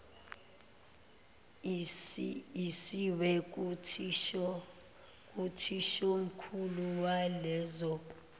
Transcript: isiwe kuthishomkhulu waleso